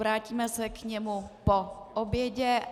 Vrátíme se k němu po obědě.